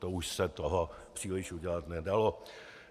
To už se toho příliš udělat nedalo.